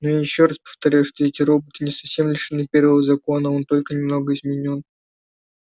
но я ещё раз повторяю что эти роботы не совсем лишены первого закона он только немного изменён